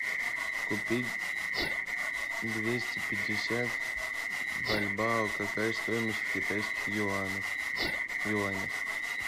купить двести пятьдесят бальбоа какая стоимость в китайских юанях